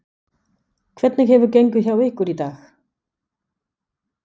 Hvernig hefur gengið hjá ykkur í dag?